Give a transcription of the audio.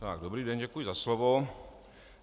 Dobrý den, děkuji za slovo.